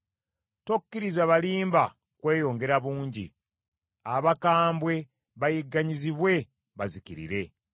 Tokkiriza balimba kweyongera bungi; abakambwe bayigganyizibwe bazikirire.